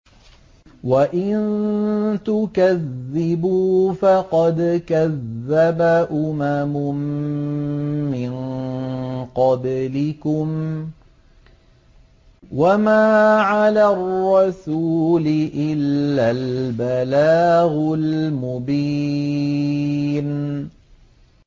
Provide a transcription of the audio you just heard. وَإِن تُكَذِّبُوا فَقَدْ كَذَّبَ أُمَمٌ مِّن قَبْلِكُمْ ۖ وَمَا عَلَى الرَّسُولِ إِلَّا الْبَلَاغُ الْمُبِينُ